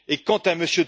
Quant à M.